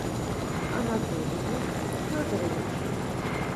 анатолием федоровичем